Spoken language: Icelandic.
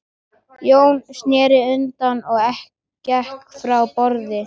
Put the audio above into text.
Jón sneri undan og gekk frá borði.